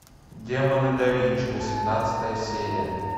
демоны да винчи восемнадцатая серия